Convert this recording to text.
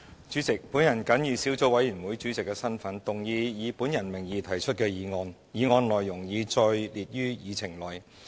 主席，我謹以小組委員會主席的身份，動議以我名義提出的議案，議案內容已載列於議程內。